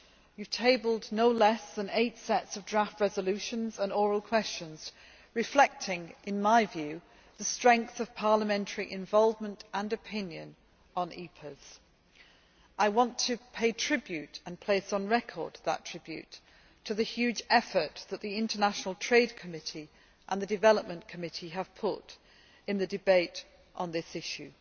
You have tabled no less than eight sets of draft resolutions and oral questions reflecting, in my view, the strength of parliamentary involvement and opinion on EPAs. I want to pay tribute, and place on record that tribute, to the huge effort that the Committee on International Trade and the Committee on Development have put into the debate on this issue.